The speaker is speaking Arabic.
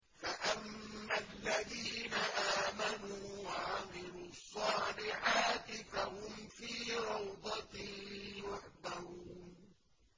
فَأَمَّا الَّذِينَ آمَنُوا وَعَمِلُوا الصَّالِحَاتِ فَهُمْ فِي رَوْضَةٍ يُحْبَرُونَ